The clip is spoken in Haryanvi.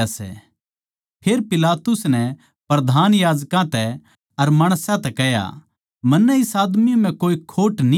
फेर पिलातुस नै प्रधान याजकां तै अर माणसां तै कह्या मन्नै इस आदमी म्ह कोए खोट न्ही पाया